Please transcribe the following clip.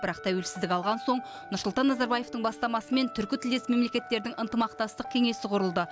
бірақ тәуелсіздік алған соң нұрсұлтан назарбаевтың бастамасымен түркі тілдес мемлекеттердің ынтымақтастық кеңесі құрылды